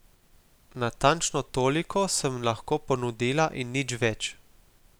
Natančno toliko sem lahko ponudila in nič več.